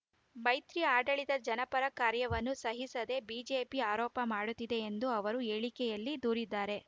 ಮೈತ್ರಿ ಆಡಳಿತದ ಜನಪರ ಕಾರ್ಯವನ್ನು ಸಹಿಸದೆ ಬಿಜೆಪಿ ಆರೋಪ ಮಾಡುತ್ತಿದೆ ಎಂದು ಅವರು ಹೇಳಿಕೆಯಲ್ಲಿ ದೂರಿದ್ದಾರೆ